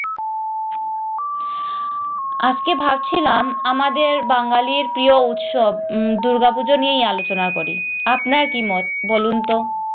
আজকে ভাবছিলাম আমাদের বাঙ্গালীর প্রিয় উৎসব উম দূর্গা পূজা নিয়েই আলোচনা করি আপনার কি মত বলুন তো?